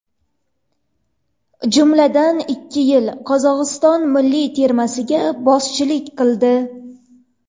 Jumladan, ikki yil Qozog‘iston milliy termasiga boshchilik qildi.